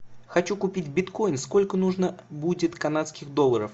хочу купить биткоин сколько нужно будет канадских долларов